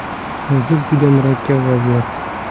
Hozir juda murakkab vaziyat.